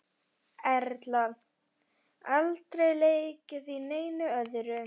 Erla: Aldrei leikið í neinu öðru?